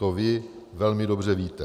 To vy velmi dobře víte.